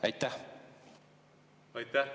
Aitäh!